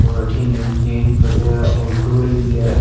और अठीने केन पड़िया है और डोली भी है।